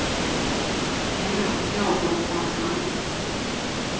En natt gnagde hon på hans hand.